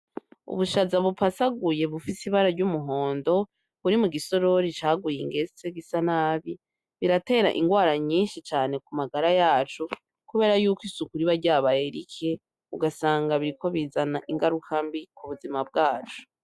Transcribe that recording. Ubushaza bu pasaguye bufise ibara ry'umuhondo buri mu gisorori caguye ingese gisa nabi biratera ingwara nyishi cane ku magara yacu kubera yuko isuku riba ryabaye rike ugasanga biriko bizana ingaruka mbi k'ubuzima bwacu.